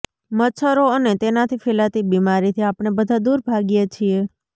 મચ્છરો અને તેનાથી ફેલાતી બીમારીથી આપણે બધા દૂર ભાગીએ છીએ